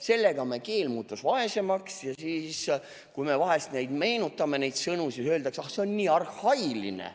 Sellega me keel muutus vaesemaks, ja siis, kui me vahel meenutame neid sõnu, siis öeldakse: ah, see on nii arhailine.